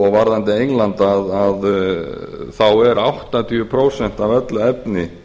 varðandi englandi þá er áttatíu prósent af öllu efni